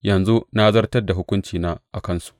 Yanzu na zartar da hukuncina a kansu.